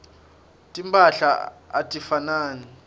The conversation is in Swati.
timphahla atifanani